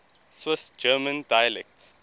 swiss german dialects